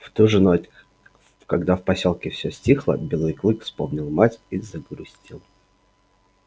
в ту же ночь когда в посёлке все стихло белый клык вспомнил мать и загрустил